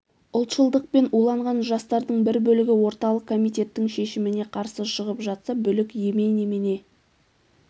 ұлтшылдықпен уланған жастардың бір бөлігі орталық комитеттің шешіміне қарсы шығып жатса бүлік емей немене